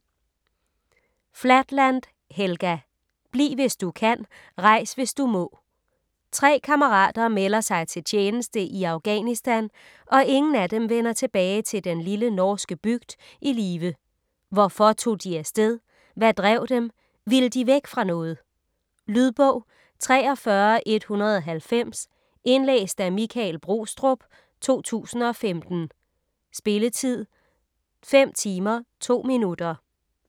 Flatland, Helga: Bliv hvis du kan, rejs hvis du må Tre kammerater melder sig til tjeneste i Afghanistan, og ingen af dem vender tilbage til den lille norske bygd i live. Hvorfor tog de af sted? Hvad drev dem? Ville de væk fra noget? Lydbog 43190 Indlæst af Michael Brostrup, 2015. Spilletid: 5 timer, 2 minutter.